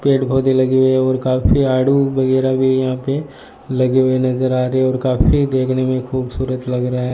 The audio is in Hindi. पेड़ पौधे लगी हुई है और काफी आडू वगैरा भी यहां पे लगे हुए नजर आ रहे और काफी देखने में खूबसूरत लग रहा है।